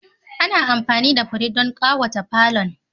Ana amfani da fure don ƙawata falon.